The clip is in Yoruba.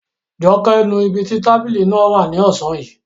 Joke nu ibi tí tábìlì náà wà ní ọ̀sán yìí